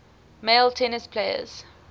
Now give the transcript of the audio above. male tennis players